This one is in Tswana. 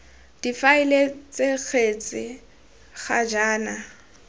difaele ts kgetse ga jaana